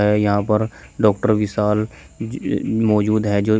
यहां पर डॉक्टर विशाल मौजूद है जो--